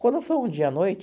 Quando foi um dia à noite,